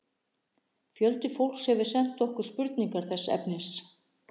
Fjöldi fólks hefur sent okkur spurningar þessa efnis.